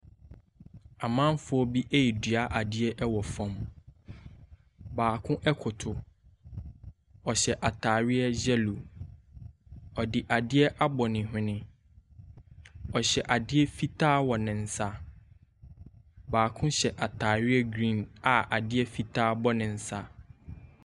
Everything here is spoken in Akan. Amanfoɔ bi redua adeɛ wɔ fam. Baako koto, ɔhyɛ atadeɛ yellow. Ɔde adeɛ abɔ ne hwene. Ɔhyɛ adeɛ fitaa wɔ ne nsa. Baako hyɛ atadeɛ green a adeɛ fitaa bɔ ne nsa.